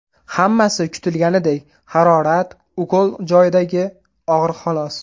Hammasi kutilganidek – harorat, ukol joyidagi og‘riq xolos.